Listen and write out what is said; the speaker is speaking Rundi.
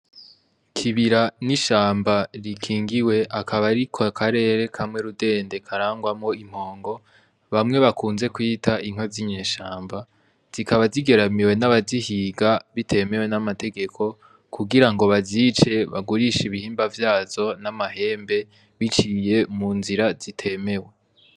Ikibira n'ishamba rikingiwe akaba ariko karere kamwe rudende karangwamwo impongo bamwe bakunze kwita inka z'inyeshamba, zikaba zigeramiwe n'abazihiga bitemewe n'amategeko kugira ngo bazice bagurishe ibihimba vyazo n'amahembe biciye mu nzira zitemewe.